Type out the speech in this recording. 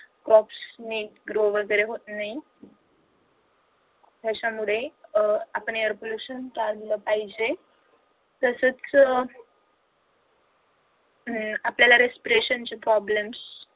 crops नि grow वगैरे होत नाही. त्याच्यामुळे अह आपण airpolution टाळलं पाहिजे. तसंच हम्म आपल्याला respiration चे problems